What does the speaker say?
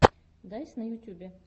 дайс на ютюбе